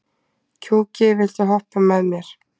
Gjúki, viltu hoppa með mér?